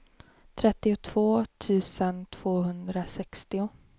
trettiotvå tusen tvåhundrasextio